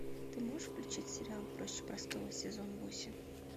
ты можешь включить сериал проще простого сезон восемь